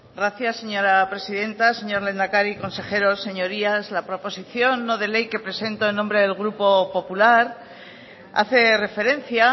gracias señora presidenta señor lehendakari consejeros señorías la proposición no de ley que presento en nombre del grupo popular hace referencia